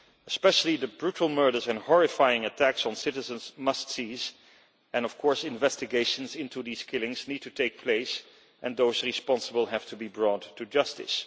Especially the brutal murders and horrifying attacks on citizens must cease, and of course investigations into these killings need to take place, and those responsible have to be brought to justice.